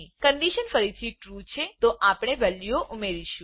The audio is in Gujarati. કન્ડીશન ફરીથી ટ્રૂ ટ્રૂ છે તો આપણે વેલ્યુઓ ઉમેરીશું